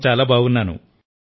నేను చాలా బాగున్నాను